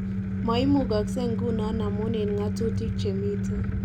Maimukase nguno amun en ng'atutik chemite